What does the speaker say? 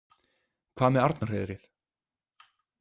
Hvað með Arnarhreiðrið?